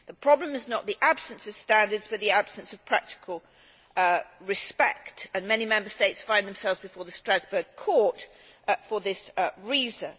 The problem is not the absence of standards but the absence of practical respect, and many Member States find themselves before the Strasbourg Court for this reason.